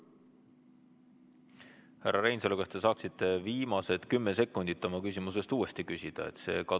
Härra Reinsalu, kas te saaksite viimased 10 sekundit oma küsimusest uuesti küsida?